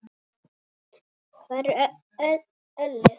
Hvar er ölið?